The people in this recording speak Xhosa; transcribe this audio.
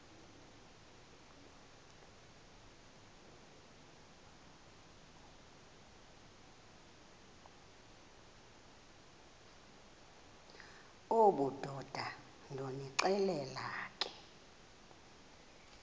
obudoda ndonixelela ke